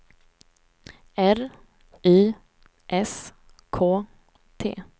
R Y S K T